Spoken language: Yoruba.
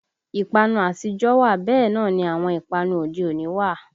Ìpanu àtijọ́ wà bẹ́ẹ̀ náà ni àwọn ìpanu òde òní wà